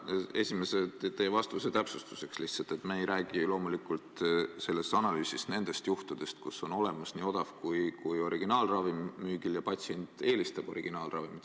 Teie esimese vastuse täpsustuseks lihtsalt ütlen, et me ei räägi ju loomulikult selles analüüsis nendest juhtudest, kui on müügil nii odav kui ka originaalravim ja patsient eelistab originaalravimit.